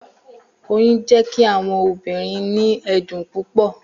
Oyun jẹ ki awọn obirin ni ẹdun pupọ